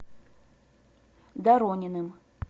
дорониным